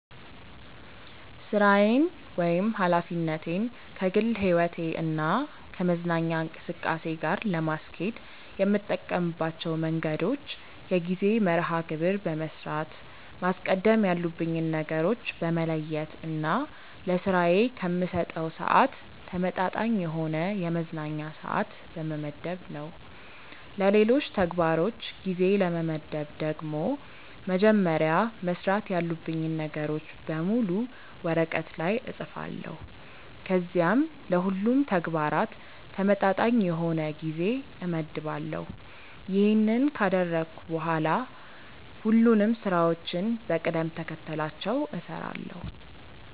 ሥራዬን ወይም ኃላፊነቴን ከግል ሕይወቴ እና ከመዝናኛ እንቅስቃሴ ጋር ለማስኬድ የምጠቀምባቸው መንገዶች የጊዜ መርሐ ግብር በመስራት፣ ማስቀደም ያሉብኝን ነገሮች በመለየት እና ለስራዬ ከምሰጠው ስዓት ተመጣጣኝ የሆነ የመዝናኛ ስዓት በመመደብ ነው። ለሌሎች ተግባሮች ጊዜ ለመመደብ ደግሞ መጀመሪያ መስራት ያሉብኝን ነገሮች በሙሉ ወረቀት ላይ እፅፋለሁ ከዚያም ለሁሉም ተግባራት ተመጣጣኝ የሆነ ጊዜ እመድባለሁ። ይሄንን ካደረግኩ በኋላ ሁሉንም ስራዎችን በቅደም ተከተላቸው እሰራለሁ።